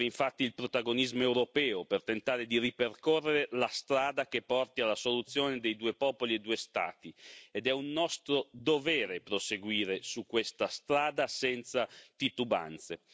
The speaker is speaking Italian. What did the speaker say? Serve infatti il protagonismo europeo per tentare di ripercorrere la strada che porti alla soluzione dei due popoli e due Stati, ed è un nostro dovere proseguire su questa strada, senza titubanze.